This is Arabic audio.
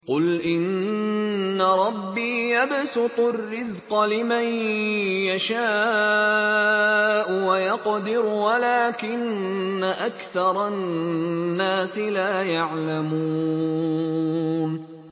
قُلْ إِنَّ رَبِّي يَبْسُطُ الرِّزْقَ لِمَن يَشَاءُ وَيَقْدِرُ وَلَٰكِنَّ أَكْثَرَ النَّاسِ لَا يَعْلَمُونَ